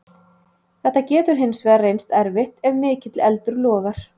Þetta getur hins vegar reynst erfitt ef mikill eldur logar.